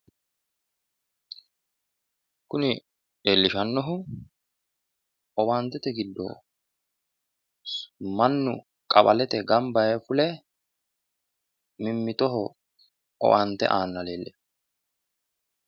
kuni leellishanohu owaantete giddo mannu qawalete ganba yee fule mimmitoho owaante aanna leellishshanno.